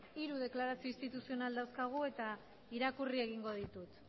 hiru deklarazio instituzional dauzkagu eta irakurri egingo ditut